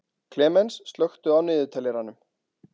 Klemens, slökktu á niðurteljaranum.